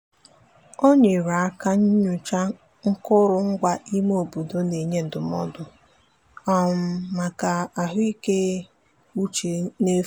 o nyere aka nyochaa akụrụngwa ime obodo na-enye ndụmọdụ maka ahụikeuche n'efu.